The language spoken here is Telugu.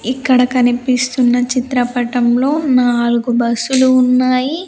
ఇక్కడ కనిపిస్తున్న చిత్రపటంలో నాలుగు బస్సులు ఉన్నాయి.